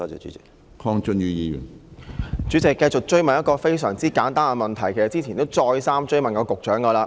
主席，我繼續追問一個非常簡單的問題，其實之前已再三追問局長。